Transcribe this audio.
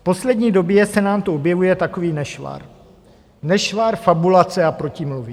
V poslední době se nám to objevuje takový nešvar - nešvar fabulace a protimluvy.